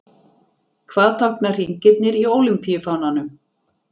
Hvað tákna hringirnir í ólympíufánanum?